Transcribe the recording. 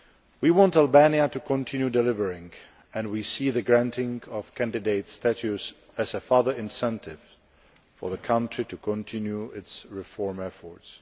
We want Albania to continue delivering and we see the granting of candidate status as a further incentive for the country to continue its reform efforts.